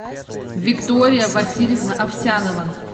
виктория васильевна овсянова